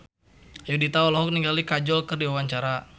Ayudhita olohok ningali Kajol keur diwawancara